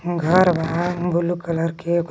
घर बा blue colour के ओकरा में--